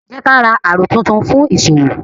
Jẹ ka ra àrò tún tún fun fún ìṣòwò